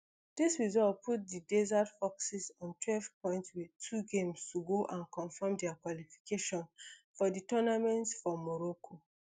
dis result put di desert foxes on twelve points wit two games to go and confirm dia qualification for di tournament for morocco